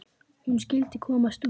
Hún skyldi komast út!